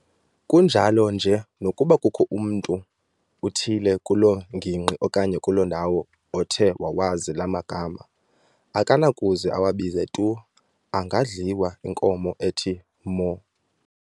Kunjalo nje nokuba kukho mntu uthile kuloo ngingqi okanye kuloo ndawo othe wawazi laa magama, akanakuze awabize tu, angadliwa inkomo ethi mho!